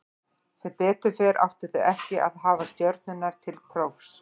Sem betur fer áttu þau ekki að hafa stjörnurnar til prófs.